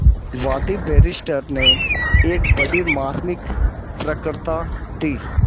वादी बैरिस्टर ने एक बड़ी मार्मिक वक्तृता दी